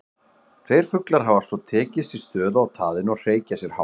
Tveir fuglar hafa svo tekið sér stöðu á taðinu og hreykja sér hátt.